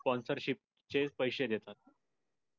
sponcership चे पैशे देतात.